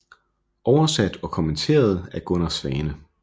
Oversat og kommenteret af Gunnar Svane